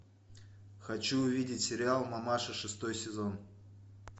хочу увидеть сериал мамаша шестой сезон